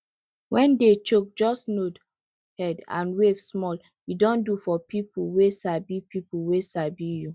when day choke just nod head and wave small e don do for people wey sabi people wey sabi you